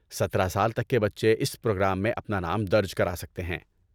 سترہ سال تک کے بچے اس پروگرام میں اپنا نام درج کرا سکتے ہیں